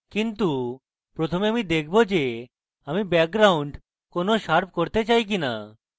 কিন্তু প্রথমে আমি দেখাবো যে আমি background কেনো শার্প করতে চাই না